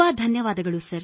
ಧನ್ಯವಾದಗಳು ಸರ್